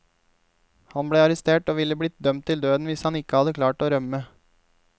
Han ble arrestert og ville blitt dømt til døden hvis han ikke hadde klart å rømme.